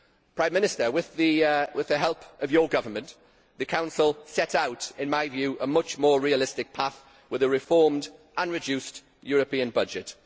Prime Minister, with the help of your government, the Council has set out in my view a much more realistic path with a reformed and reduced European budget.